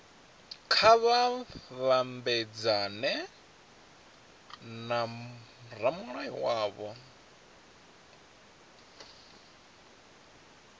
kha vha mabedzane na ramulayo wavho